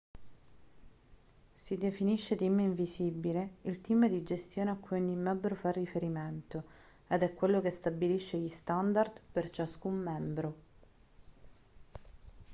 si definisce team invisibile il team di gestione a cui ogni membro fa riferimento ed è quello che stabilisce gli standard per ciascun membro